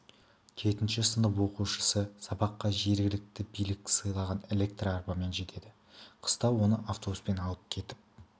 жетінші сынып оқушысы сабаққа жергілікті билік сыйлаған электр арбамен жетеді қыста оны автобуспен алып кетіп